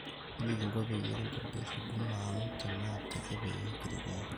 kaji kiko peyie kintobir huduma ang tenaa teke peyie kiret iyie